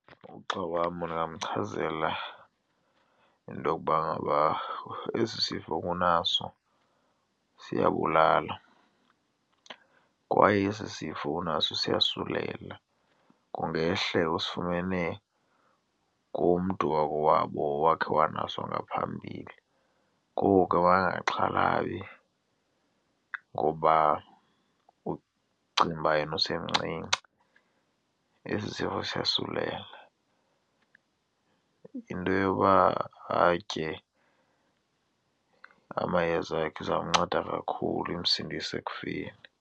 Ugxa wam ndingamchazela into yokuba ngaba esi sifo unaso siyabulala kwaye esi sifo unaso siyasulela, kungehle usifumene kumntu wakowabo owakhe wanaso ngaphambili. Ngoku ke makangaxhalabi ngoba ucinga uba yena usemncinci. Esi sifo siyosulela, yinto yoba atye amayeza akhe izawumnceda kakhulu imsindise ekufeni.